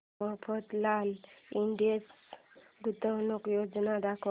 Mafatlal industries गुंतवणूक योजना दाखव